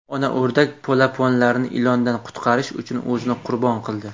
Ona o‘rdak polaponlarini ilondan qutqarish uchun o‘zini qurbon qildi.